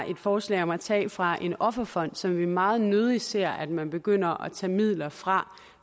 et forslag om at tage fra en offerfond som vi meget nødig ser at man begynder at tage midler fra